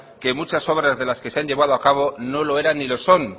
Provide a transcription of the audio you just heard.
que muchas obras de las que se han llevado a cabo no lo eran ni lo son